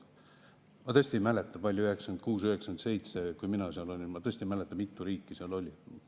Ma tõesti ei mäleta, mitu riiki seal oli 1996 ja 1997, kui mina seal olin.